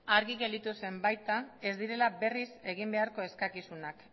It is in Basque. argi gelditu zen baita ez direla berriz egin beharko eskakizunak